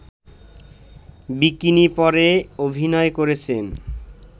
bikini পরে অভিনয় করেছেন